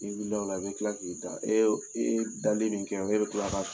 N'i wilila o la e bɛ tila k'i da e ye dali min kɛ e bɛ tila k'a